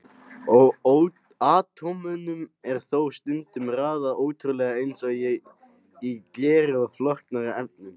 Atómunum er þó stundum raðað óreglulega eins og í gleri eða flóknari efnum.